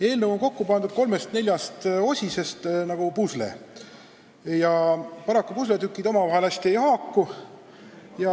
Eelnõu on kokku pandud kolmest-neljast osisest nagu pusle ja paraku pusletükid omavahel hästi ei haaku.